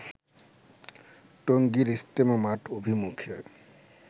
টঙ্গীর ইজতেমা মাঠ অভিমুখে